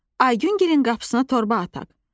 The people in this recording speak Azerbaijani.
Aygüngilin qapısına torba ataq.